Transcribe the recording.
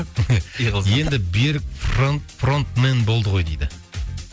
пиғылыздар енді берік фронт фронтмен болды ғой дейді